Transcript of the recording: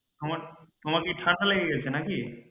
তোমার কি ঠাণ্ডা লেগে গেছে নাকি?